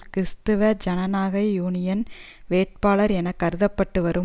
கிறிஸ்துவ ஜனநாயக யூனியன் வேட்பாளர் என கருத பட்டு வரும்